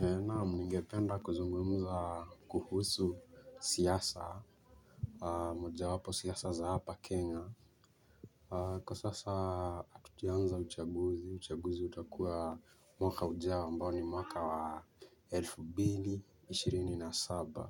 Naam nigependa kuzungumza kuhusu siasa moja wapo siasa za hapa Kenya. Kwa sasa tukianza uchaguzi, uchaguzi utakua mwaka ujao ambao ni mwaka wa elfu mbili, ishirini na saba.